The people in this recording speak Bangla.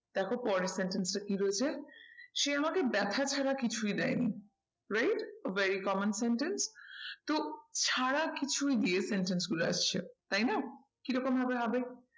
দেখো পরের sentence টা কি রয়েছে সে আমাকে ব্যাথা ছাড়া কিছুই দেয়নি। right very common sentence তো ছাড়া কিছুই দিয়ে sentence গুলো আসছে তাই না কি রকম ভাবে হবে।